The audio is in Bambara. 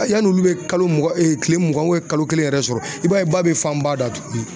Yanni olu bɛ kalo mugan tile mugan kalo kelen yɛrɛ sɔrɔ i b'a ye ba bɛ fan ba da tuguni